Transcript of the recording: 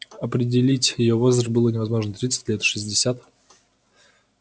определить её возраст было невозможно тридцать лет шестьдесят